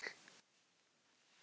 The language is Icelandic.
Það elskar okkur öll.